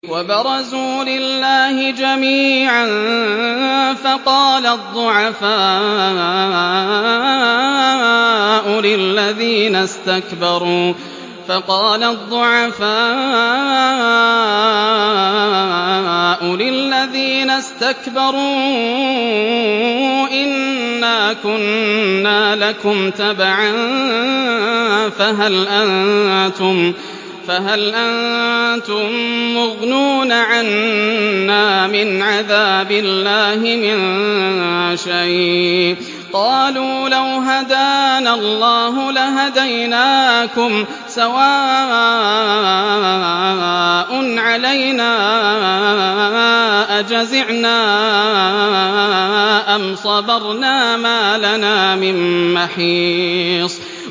وَبَرَزُوا لِلَّهِ جَمِيعًا فَقَالَ الضُّعَفَاءُ لِلَّذِينَ اسْتَكْبَرُوا إِنَّا كُنَّا لَكُمْ تَبَعًا فَهَلْ أَنتُم مُّغْنُونَ عَنَّا مِنْ عَذَابِ اللَّهِ مِن شَيْءٍ ۚ قَالُوا لَوْ هَدَانَا اللَّهُ لَهَدَيْنَاكُمْ ۖ سَوَاءٌ عَلَيْنَا أَجَزِعْنَا أَمْ صَبَرْنَا مَا لَنَا مِن مَّحِيصٍ